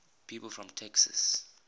people from texas